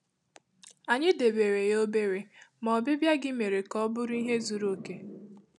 Ànyị debèrè ya òbèrè, ma obibia gị mere ka ka ọ bụrụ ihe zuru okè.